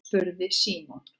spurði Símon.